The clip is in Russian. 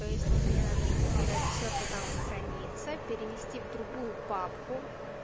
то есть мне надо скопировать все что там хранится перенести в другую папку